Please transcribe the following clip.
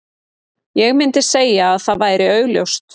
Ég myndi segja að það væri augljóst.